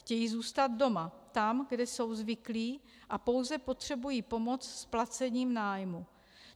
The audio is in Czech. Chtějí zůstat doma, tam, kde jsou zvyklí, a pouze potřebují pomoc s placením nájmu.